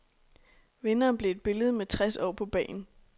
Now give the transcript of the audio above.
Vinderen blev et billede med tres år på bagen.